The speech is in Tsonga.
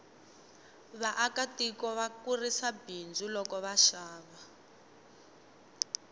vaaka tiko va kurisa bindzu loko va xava